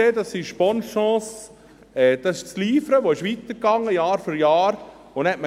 Dies ist «Bonne Chance», dies ist das «Livre», das Jahr für Jahr weiterging.